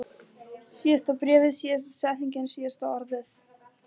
Síðasta bréfið, síðasta setningin, síðasta orðið.